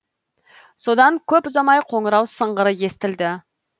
содан көп ұзамай қоңырау сыңғыры естілді